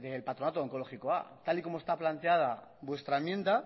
del patronato de onkologikoa tal y como está planteada vuestra enmienda